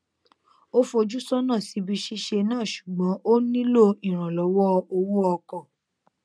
ó fojú sọnà síbi ṣíṣe náà ṣùgbọn ó nílò ìrànllọwọ owó ọkọ